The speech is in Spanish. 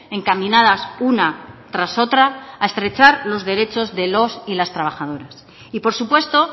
encaminada una tras otra a presar los derechos y los y las trabajadoras y por supuesto